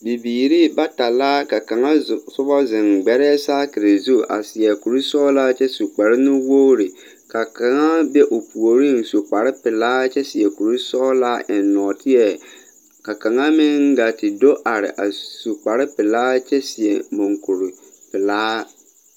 Bibiire bata la ka kaŋ sobɔ zeŋ gbɛrɛɛ saakire zu a seɛ kurisɔglaa kyɛ su kparenuwogre ka kaŋa be o puoriŋ su kparepelaa kyɛ seɛ kurisɔglaa eŋ nɔɔteɛ ka kaŋa meŋ gaa te do are a su kparepelaa kyɛ seɛ monkure pelaa.